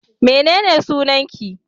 mene ne sunanki?